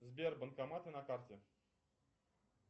сбер банкоматы на карте